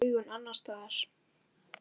Þú varst með augun annars staðar.